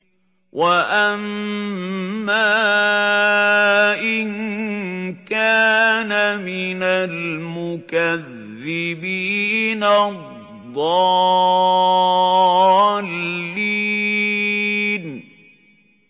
وَأَمَّا إِن كَانَ مِنَ الْمُكَذِّبِينَ الضَّالِّينَ